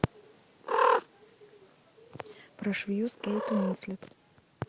про швею с кейт уинслет